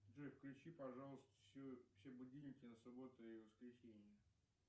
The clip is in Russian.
джой включи пожалуйста все будильники на субботу и воскресенье